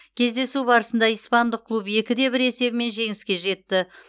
кездесу барысында испандық клуб екі де бір есебімен жеңіске жетті